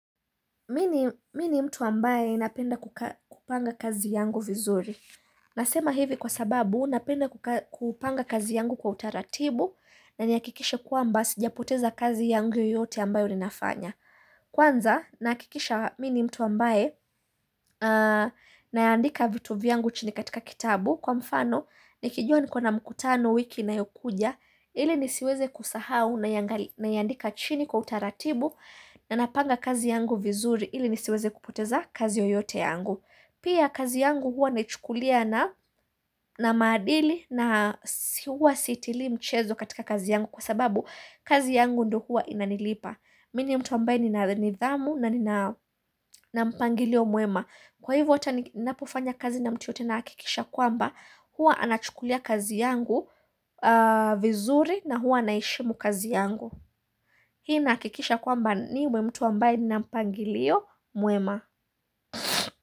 Mi ni mtu ambaye napenda kupanga kazi yangu vizuri Nasema hivi kwa sababu napenda kupanga kazi yangu kwa utaratibu na nihakikishe kwamba sijapoteza kazi yangu yoyote ambayo ninafanya Kwanza nahakikisha mi ni mtu ambaye na yaandika vitu vyangu chini katika kitabu Kwa mfano nikijua niko na mkutano wiki inayokuja ili nisiweze kusahau na iandika chini kwa utaratibu na napanga kazi yangu vizuri ili nisiweze kupoteza kazi yoyote yangu Pia kazi yangu huwa naichukulia na maadili na huwa sitilii mchezo katika kazi yangu Kwa sababu kazi yangu ndo huwa inanilipa Mi ni mtu ambaye nina nithamu na nina mpangilio mwema Kwa hivyo ata ninapofanya kazi na mtu yoyote nahakikisha kwamba Huwa anachukulia kazi yangu vizuri na huwa naheshimu kazi yangu pia nahakikisha kwamba niwe mtu ambaye nina mpangilio mwema.